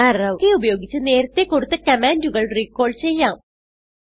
arrow key ഉപയോഗിച്ച് നേരത്തെ കൊടുത്ത കമാൻഡുകൾ റിക്കാൾ ചെയ്യാം